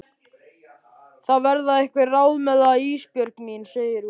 Það verða einhver ráð með það Ísbjörg mín, segir hún.